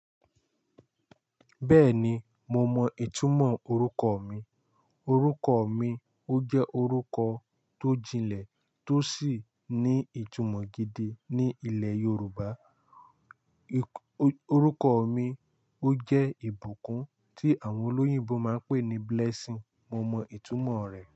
Bẹ́ẹ̀ni, mo mọ ìtumọ̀ orúkọ mi. Orúkọ mi ó jẹ́ orúkọ tó jinlẹ̀ tó sì ní ìtumọ̀ gidi ní ilẹ̀ Yorùbá. Orúkọ mi ó jẹ́ ìbùkún tí àwọn olóyìnbo máa ń pè ní Blessing. Mo mọ ìtumọ̀ rẹ̀.